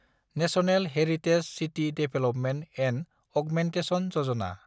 national heritage city development and augmentation Yojana